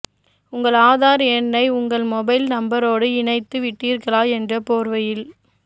உங்கள் ஆதார் எண்ணை உங்கள் மொபைல் நம்பரோடு இணைத்து விட்டீர்களா என்ற போர்வையில்